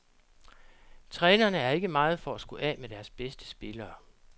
Trænerne er ikke meget for at skulle af med deres bedste spillere.